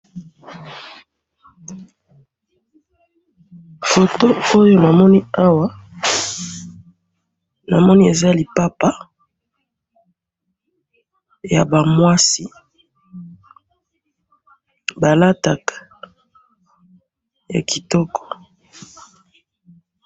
foto oyo namoni awa namoni eza lipapa yaba mwasi balataka ya kitoko.